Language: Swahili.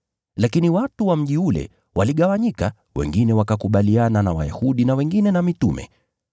Lakini watu wa mji ule waligawanyika, wengine wakakubaliana na Wayahudi na wengine na mitume.